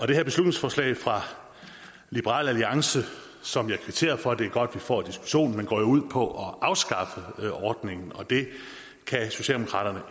det her beslutningsforslag fra liberal alliance som jeg kvitterer for det er godt at vi får diskussionen går jo ud på at afskaffe ordningen og det kan socialdemokraterne